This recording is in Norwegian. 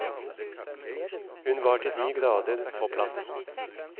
Hun var til de grader på plass.